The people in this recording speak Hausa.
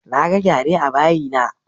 Naga gyare a bayi na